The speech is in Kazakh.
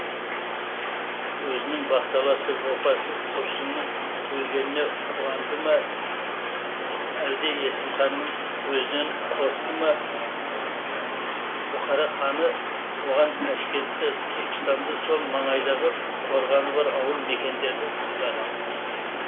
өзінің бақталасы опасыз тұрсынның өлгеніне қуанды ма өлде есімханның өзінен қорықты ма бұхара ханы оған ташкентті түркістанды сол маңайдағы қорғаны бар ауыл мекендерді сыйлаған